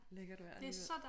Lækkert vejr alligevel